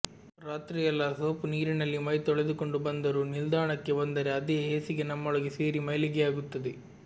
ರಾತ್ರಿಯೆಲ್ಲಾ ಸೋಪು ನೀರಿನಲ್ಲಿ ಮೈ ತೊಳೆದುಕೊಂಡು ಬಂದರೂ ನಿಲ್ದಾಣಕ್ಕೆ ಬಂದರೆ ಅದೇ ಹೇಸಿಗೆ ನಮ್ಮೊಳಗೆ ಸೇರಿ ಮೈಲಿಗೆಯಾಗುತ್ತದೆ